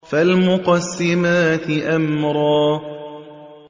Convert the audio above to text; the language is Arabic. فَالْمُقَسِّمَاتِ أَمْرًا